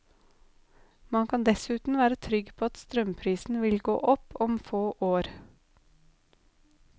Man kan dessuten være trygg på at strømprisen vil gå opp om få år.